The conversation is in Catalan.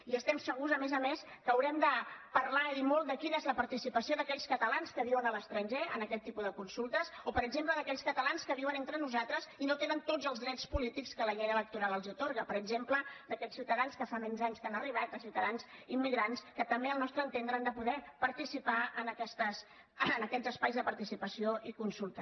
i estem segurs a més a més que haurem de parlar i molt de quina és la participació d’aquells catalans que viuen a l’estranger en aquest tipus de consultes o per exemple d’aquells catalans que viuen entre nosaltres i no tenen tots els drets polítics que la llei electoral atorga per exemple d’aquests ciutadans que fa menys anys que han arribat de ciutadans immigrants que també al nostre entendre han de poder participar en aquests espais de participació i consulta